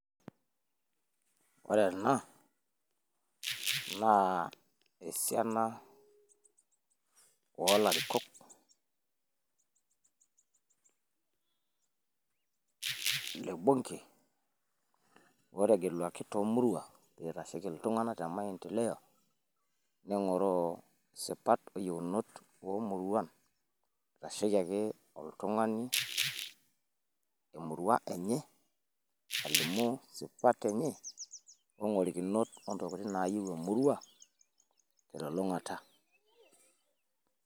oree na naa esiana, oolarikok, le bunke ootugeluaki toomuruan, oitasheki iltunanak te maendeleo. neng'oroo isipat, oyieunot emurua, eitasheki ake oltung'ani, emurua enye. alimu isipat enye ogorikinot ontokitin naayieu emurua telung'ata.